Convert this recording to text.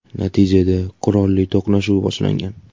Natijada qurolli to‘qnashuv boshlangan.